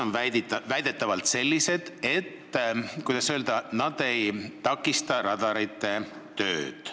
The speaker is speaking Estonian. Need on väidetavalt sellised, mis ei takista radarite tööd.